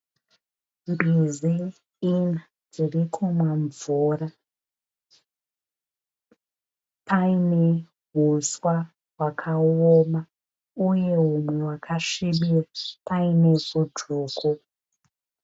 Mbizi ina dziri kunwa mvura. Payine uswa hwakaoma uye humwe hwakasvibira. Payine vhu dzvuku.